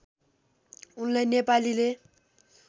उनलाई नेपालीले